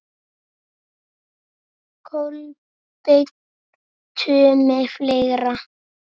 Kolbeinn Tumi Fleira?